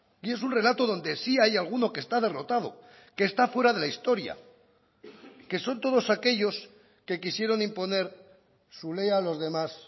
y es un relato donde sí hay alguno que está derrotado que esta fuera de la historia que son todos aquellos que quisieron imponer su ley a los demás